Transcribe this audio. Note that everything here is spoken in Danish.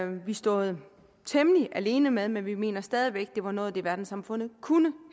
vi stået temmelig alene med men vi mener stadig væk at det var noget af det verdenssamfundet kunne